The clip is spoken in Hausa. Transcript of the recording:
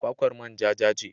Kwakwar manja ja ce.